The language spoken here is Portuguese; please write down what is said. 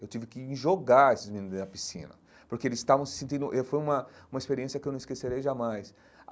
Eu tive que ir jogar esses meninos na piscina, porque eles estavam se sentindo... e foi uma uma experiência que eu não esquecerei jamais.